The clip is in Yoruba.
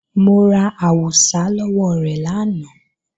Mo ra àwùsá lọ́wọ́ rẹ̀ lánàá